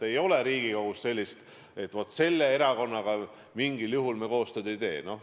Ei ole Riigikogus sedasi, et selle või teise erakonnaga me mingil juhul koostööd ei tee.